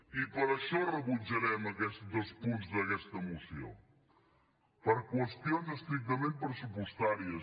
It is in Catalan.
i per això rebutjarem aquests dos punts d’aquesta moció per qüestions estrictament pressupostàries